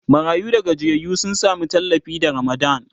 marayu da gajiyayyu sun Sami tallafi da ramadan